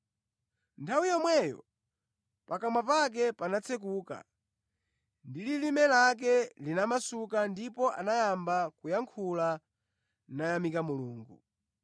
Nthawi yomweyo pakamwa pake panatsekuka ndi lilime lake linamasuka ndipo anayamba kuyankhula, nayamika Mulungu.